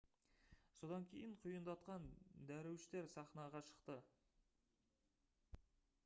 содан кейін құйындатқан дәруіштер сахнаға шықты